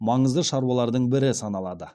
маңызды шаруалардың бірі саналады